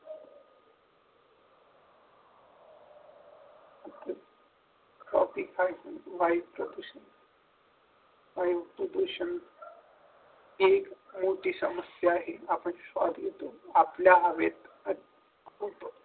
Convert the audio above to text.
topic आहे वायू प्रदूषण वायू प्रदूषण एक मोठी समस्या आहे आपण श्वास घेतो आपल्या हवेत खूप